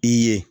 I ye